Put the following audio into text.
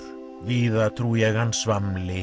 víða trú ég hann